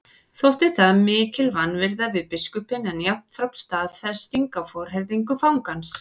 Þótti það mikil vanvirða við biskupinn en jafnframt staðfesting á forherðingu fangans.